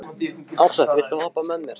Ársæll, viltu hoppa með mér?